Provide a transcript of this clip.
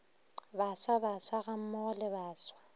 baswa baswa gammogo le baswa